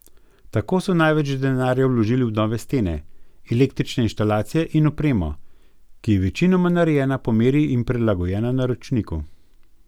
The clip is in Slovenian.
Tako so največ denarja vložili v nove stene, električne inštalacije in opremo, ki je večinoma narejena po meri in prilagojena naročniku.